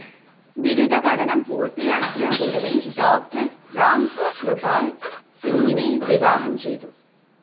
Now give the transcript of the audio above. ബിരുദ പഠനം പൂർത്തിയാക്കിയ ഉടനെ ഡോക്ടർ റാം കൃപാൽ സിങ്ങിനെ വിവാഹം ചെയ്തു.